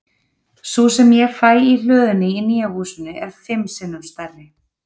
Sú sem ég fæ í hlöðunni í nýja húsinu er fimm sinnum stærri.